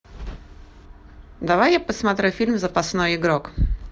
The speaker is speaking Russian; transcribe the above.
давай я посмотрю фильм запасной игрок